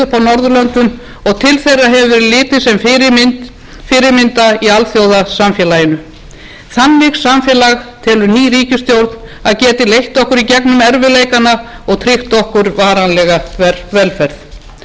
norðurlöndum og til þeirra hefur verið litið sem fyrirmynda í alþjóðasamfélaginu þannig samfélag telur ný ríkisstjórn að geti leitt okkur í gegnum erfiðleikana og tryggt okkur varanlega velferð samstarfsyfirlýsing ríkisstjórnarinnar byggist